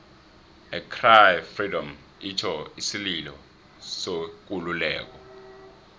i cry freedom itjho isililo sekululeko